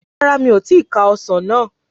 Rárá mi o ti ka ọsàn náà